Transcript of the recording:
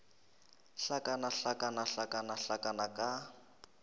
hlakana hlakana hlakana hlakana ka